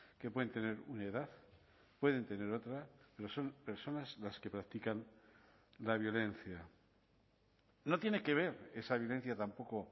que pueden tener una edad pueden tener otra pero son personas las que practican la violencia no tiene que ver esa violencia tampoco